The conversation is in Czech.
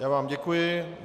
Já vám děkuji.